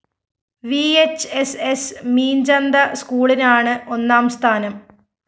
VHSS Meenchanta സ്‌കൂളിനാണ് ഒന്നാം സ്ഥാനം